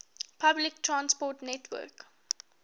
public transport network